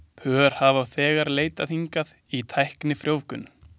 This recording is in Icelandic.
Pör hafa þegar leitað hingað í tæknifrjóvgun.